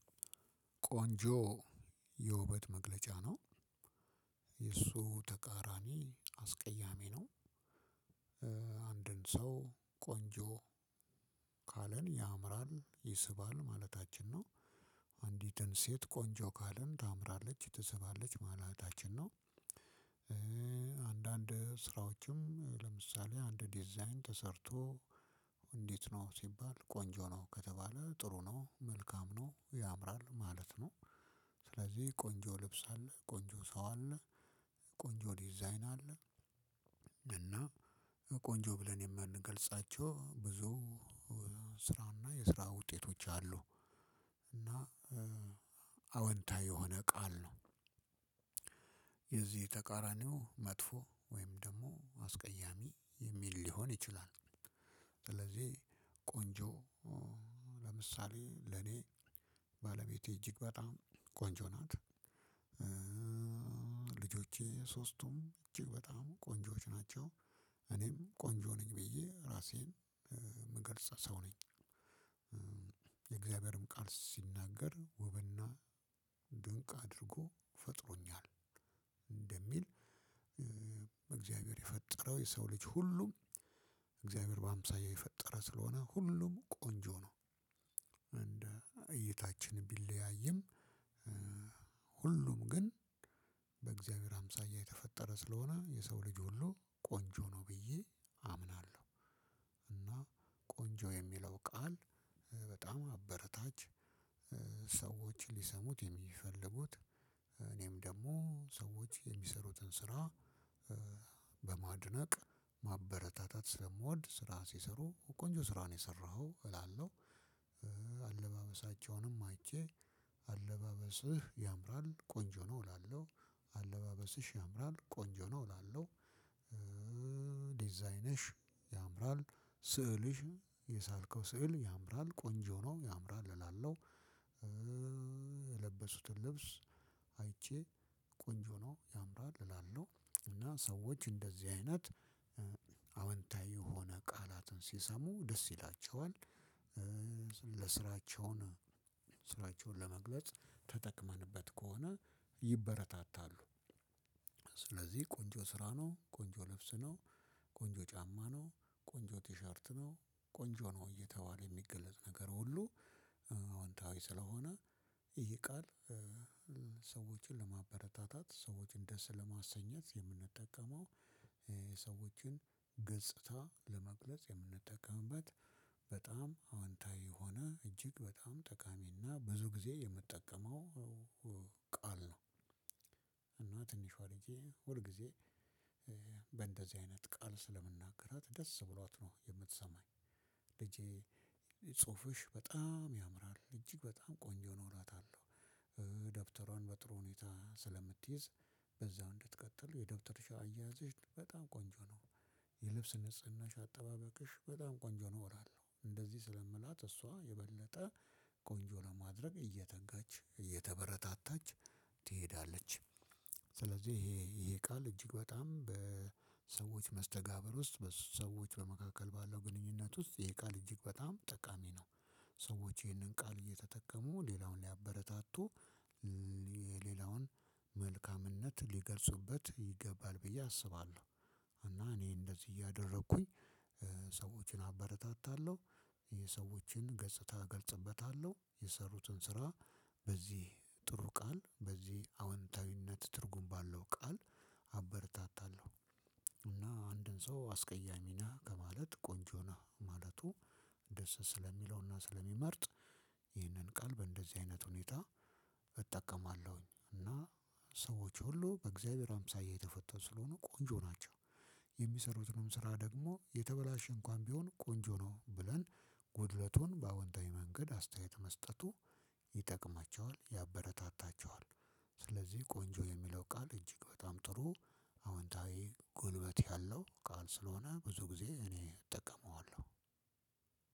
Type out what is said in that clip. ቆንጆ የውበት መግለጫ ነው። የእሱ ተቃራኒ አስቀያሚ ነው። አንድን ሰው ቆንጆ ካለን ያምራል ይስባል ማለታችን ነው። አንዲትን ሴት ቆንጆ ካልን ታምራለች ትስባለች ማለታችን ነው። አንዳንድ ስራዎችም ለምሳሌ አንድ ዲዛይን ተሰርቶ እንዴት ነው ሲባል ቆንጆ ነው ከተባለ ጥሩ ነው መልካም ነው ያምራል ማለት ነው። ስለዚህ ቆንጆ ልብስ አለ ቆንጆ ሰው አለ ቆንጆ ዲዛይን አለ። እና ቆንጆ ብለን የምንገልጻቸው ብዙ ስራና የስራ ውጤቶች አሉ። እና አወንታ የሆነ ቃል ነው። የዝህ ተቃራኒው መጥፎ ወይም ደግሞ አስቀያሚ የሚል ሊሆን ይችላል። ስለዚህ ቆንጆ ለምሳሌ ለኔ ባለቤቴ እጅግ በጣም ቆንጆ ናት። ልጆቼ ሶስቱም እጅግ በጣም ቆንጆዎች ናቸው። እኔም ኮንጆነኝ ብዬ ምገልጽ ሰው ነኝ። ቃል ሲናገር ውብና ድንቅ አድርጎ ፈጥሮኛል እንደሚል በእግዚአብሔር የፈጠረው የሰው ልጅ ሁሉም እግዚአብሔር በሃምሳያ የፈጠረ ስለሆነ ሁሉም ቆንጆ ነው። እንደ እይታችን ቢለያይም ሁሉም ግን በእግዚአብሔር አምሳያ የተፈጠረ ስለሆነ የሰው ልጅ ሁሉ ቆንጆ ነው ብዬ አምናለሁ። እና ቆንጆ የሚለው ቃል በጣም አበረታች ሰዎች ሊሰሙት የሚፈልጉት እኔም ደግሞ ሰዎች የሚሰሩትን ስራ በማድነቅ ማበረታታት ስለምወድ ስራ ሲሰሩ ቆንጆ ስራ ነው የሰራኸው እላለሁ። አለባበሳቸውንም አይቼ አለባበስህ ያምራል ቆንጆ ነው እላለሁ። አለባበስሽ ያምራል ቆንጆ ነው እላለሁ። ዲዛይነሽ ያምራል ስዕልሽ የሳልከው ስዕል ያምራል ቆንጆ ነው ያምራል እላለሁ። የለበሱትን ልብስ አይቼ ቆንጆ ነው ያምራል እላለሁ እና ሰዎች እንደዚህ አይነት አዎንታዊ የሆነ ቃላትን ሲሰሙ ደስ ይላቸዋል። ለስራቸውን ስራቸውን ለመግለጽ ተጠቅመንበት ከሆነ ይበረታታሉ። ስለዚህ ቆንጆ ስራ ነው ቆንጆ ለብስ ነው። ቆንጆ ጫማ ነው። ቆንጆ ቲሸርት ነው። ቆንጆ ነው እየተባለ የሚገለጽ ነገር ሁሉ አወንታዊ ስለሆነ ይህ ቃል ሰዎችን ለማበረታታት ሰዎችን ደስ ለማሰኘት የምንጠቀመው ሰዎችን ገጽታ ለመግለጽ የምንጠቀምበት በጣም አወንታዊ ሆነ እጅግ በጣም ጠቃሚና ብዙ ጊዜ የምጠቀመው ቃል ነው። እና ትንሽዋ ልጄ ሁል ጊዜ በእንደዚህ አይነት ቃል ስለምናገራት ደስ ብሏት ነው የምትሰማኝ። ልጄ ጽሁፍሽ በጣም ያምራል እጅግ በጣም ቆንጆ ነው እላታለሁ። ደብተሯን በጥሩ ሁኔታ ስለምትይዝ በዛው እንድትቀጥል የደብተርሽ አያያዝሽ በጣም ቆንጆ ነው። የልብስ ንጽህናሽ አጠባበቅሽ በጣም ቆንጆ ነው እላለሁ እንደዚህ ስለምላት እሷ የበለጠ ቆንጆ ለማድረግ እየተጋች እየተበረታታች ትሄዳለች። ስለዚህ ይሄ ይሄ ቃል እጅግ በጣም በሰዎች መስተጋብር ውስጥ በሰዎች በመካከል ባለው ግንኙነት ውስጥ የቃል እጅግ በጣም ጠቃሚ ነው። ሰዎች ይህንን ቃል እየተጠቀሙ ሌላውን ሊያበረታቱ የሌላውን መልካምነት ሊገልጹበት ይገባል ብዬ አስባለሁ። እና እኔ እንደዚህ እያደረኩኝ ሰዎችን አበረታታለሁ። የሰዎችን ገጽታ እገልጽበታለሁ የሰሩትን ስራ በዚህ ጥሩ ቃል በዚህ አወንታዊነት ትርጉም ባለው ቃል አበርታታለሁ። እና አንድን ሰው አስቀያሚ ነህ ከማለት ቆንጆ ነህ ማለቱ ደስ ስለሚለውና ስለሚመርጥ። ይህንን ቃል በእንደዚህ አይነት ሁኔታ እጠቀማለሁኝ እና ሰዎች ሁሉ በእግዚሀብሄር አምሳያ የትፈጠሩ ስለሆኑ ቆንጆ ናቸው። የሚሰሩትንም ስራ የተበላሸ እንኩዋን ቢሆን ቆንጆ ነው ብልለን ጉደለቱን በአውንታዊ መንገድ አስታየት መስጠቱ ይጠቅማቸዋል ያበረታታቸዋል። ስለዝህ ቆንጆ የሚለው ቃል እጅግ በጣም ጥሩ አወንታዊ ጉልበት ያለው ቃል ስለሆነ ብዙ ግዜ እኔ እጠቀመዎላው።